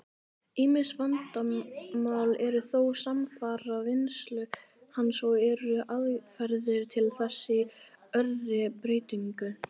Ýmis vandamál eru þó samfara vinnslu hans, og eru aðferðir til þess í örri breytingu.